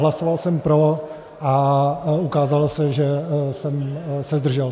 Hlasoval jsem pro a ukázalo se, že jsem se zdržel.